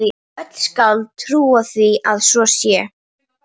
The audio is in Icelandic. Öll skáld trúa því að svo sé.